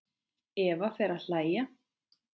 Eva fer að hlæja.